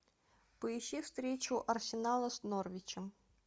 поищи встречу арсенала с норвичем